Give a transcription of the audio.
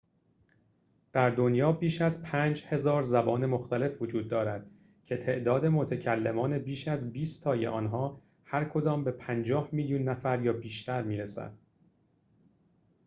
در دنیا بیش از ۵,۰۰۰ زبان مختلف وجود دارد که تعداد متکلمان بیش از بیست تای آنها هرکدام به ۵۰ میلیون نفر یا بیشتر می‌رسد